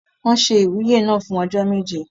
Wọ́n se ìwúyè náà fún ọjọ́ méje.